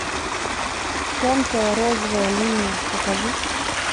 тонкая розовая линия покажи